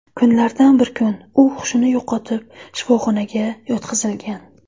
Kunlardan bir kun u hushini yo‘qotib, shifoxonaga yotqizilgan.